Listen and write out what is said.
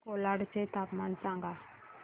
मला कोलाड चे तापमान सांगा